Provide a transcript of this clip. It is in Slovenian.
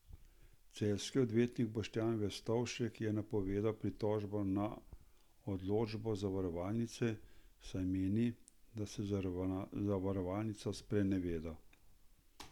Celjski odvetnik Boštjan Verstovšek je napovedal pritožbo na odločbo zavarovalnice, saj meni, da se zavarovalnica spreneveda.